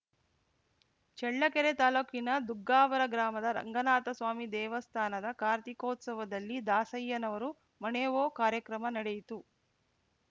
ಚಳ್ಳಕೆರೆ ತಾಲೂಕಿನ ದುಗ್ಗಾವರ ಗ್ರಾಮದ ರಂಗನಾಥಸ್ವಾಮಿ ದೇವಸ್ಥಾನದ ಕಾರ್ತಿಕೋತ್ಸವದಲ್ಲಿ ದಾಸಯ್ಯನವರು ಮಣೇವೂ ಕಾರ್ಯಕ್ರಮ ನಡೆಯಿತು